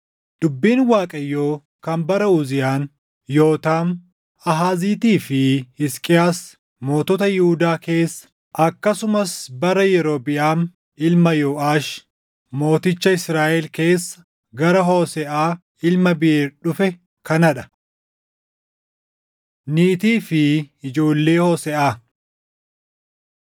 Dubbiin Waaqayyoo kan bara Uziyaan, Yootaam, Aahaaziitii fi Hisqiyaas mootota Yihuudaa keessa, akkasumas bara Yerobiʼaam ilma Yooʼaash mooticha Israaʼel keessa gara Hooseʼaa ilma Biʼeer dhufe kanaa dha: Niitii fi Ijoollee Hooseʼaa